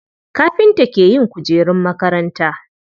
Kafinta ke yin kujerun makaranta.